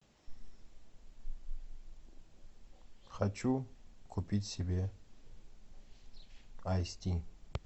хочу купить себе айс ти